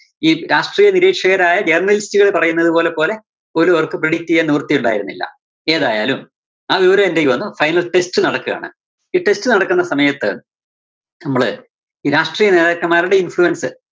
ഈ രാഷ്ട്രീയ നിരീക്ഷകരായ journalist കൾ പറയുന്നത് പോലെ, പോലെ പോലും അവർക്ക് predict ചെയ്യാൻ നിവിർത്തി ഉണ്ടായിരുന്നില്ല. ഏതായാലും ആ വിവരം എന്റെ കൈയിൽ വന്നു, final test നടക്കുവാണ്. ഈ test നടക്കുന്ന സമയത്ത് നമ്മള് ഈ രാഷ്ട്രീയ നേതാക്കന്മാരുടെ influence